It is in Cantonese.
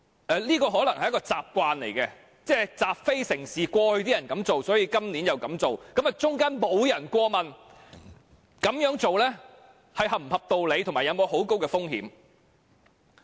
這可能是個習慣，即習非成是，過去這樣做，所以今年又這樣做，其間沒有人過問這個做法是否合理、有沒有很高的風險。